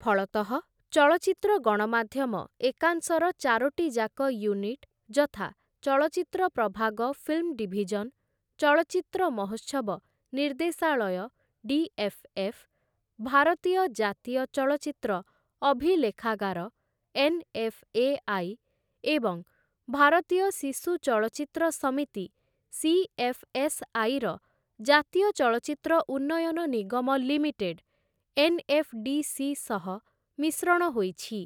ଫଳତଃ ଚଳଚ୍ଚିତ୍ର ଗଣମାଧ୍ୟମ ଏକାଂଶର ଚାରୋଟିଯାକ ୟୁନିଟ ଯଥା ଚଳଚ୍ଚିତ୍ର ପ୍ରଭାଗ ଫିଲ୍ମ ଡିଭିଜନ, ଚଳଚ୍ଚିତ୍ର ମହୋତ୍ସବ ନିର୍ଦ୍ଦେଶାଳୟ ଡି.ଏଫ୍‌.ଏଫ୍‌., ଭାରତୀୟ ଜାତୀୟ ଚଳଚ୍ଚିତ୍ର ଅଭିଲେଖାଗାର ଏନ୍‌.ଏଫ୍‌.ଏ.ଆଇ. ଏବଂ ଭାରତୀୟ ଶିଶୁ ଚଳଚ୍ଚିତ୍ର ସମିତି ସି.ଏଫ୍‌.ଏସ୍‌.ଆଇ. ର ଜାତୀୟ ଚଳଚ୍ଚିତ୍ର ଉନ୍ନୟନ ନିଗମ ଲିମିଟେଡ ଏନ୍‌.ଏଫ୍‌.ଡି.ସି. ସହ ମିଶ୍ରଣ ହୋଇଛି ।